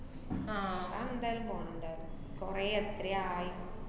ആഹ് അതെന്തായാലും പോണ്ണ്ടാര്ന്ന്. കൊറെ എത്രെ ആയി.